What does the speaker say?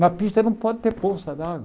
Na pista não pode ter poça d'água.